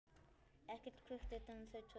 Ekkert kvikt utan þau tvö.